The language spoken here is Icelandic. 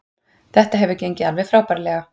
Þetta hefur gengið alveg frábærlega